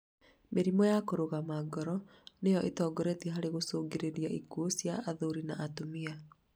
Mĩrimũ ya kũrũgama kwa ngoro nĩyo ĩtongoretie harĩ gũcũngĩrĩria ikuũ cia athuri an atumia